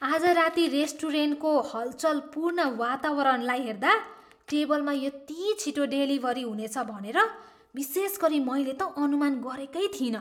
आज राती रेस्टुरेन्टको हलचलपूर्ण वातावरणलाई हेर्दा टेबलमा यति छिटो डेलिभरी हुनेछ भनेर विशेषगरी मैले त अनुमान गरेकै थिइनँ।